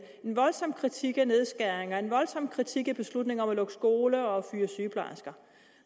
en voldsom kritik af nedskæringer en voldsom kritik af beslutninger om at lukke skoler og fyre sygeplejersker